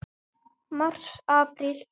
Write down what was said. Mars Apríl